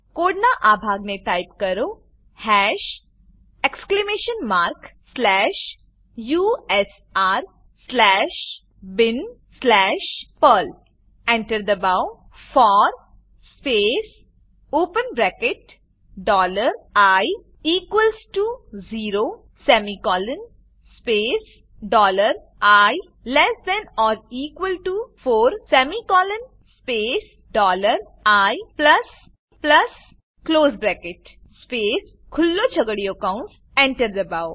કોડનાં આ ભાગને ટાઈપ કરો hash exclamation mark slash u s r slash bin slash perl Enter enter દબાવો for space open bracket dollar i equals to zero semicolon space dollar i less than or equal to four semicolon space dollar i plus plus close bracket space ખુલ્લો છગડીયો કૌંસ enter દબાવો